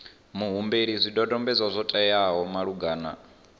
muhumbeli zwidodombedzwa zwo teaho malugana